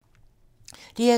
DR2